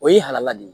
O ye halala de ye